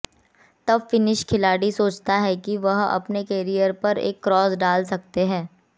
तब फिनिश खिलाड़ी सोचता है कि वह अपने कैरियर पर एक क्रॉस डाल सकते हैं